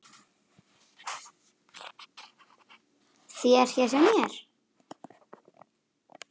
þér hér hjá mér